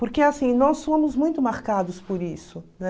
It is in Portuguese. Porque, assim, nós fomos muito marcados por isso, né?